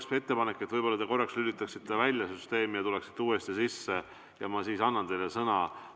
Mul on ettepanek, et te korraks lülitate oma arvuti välja ja ma siis annan teile sõna.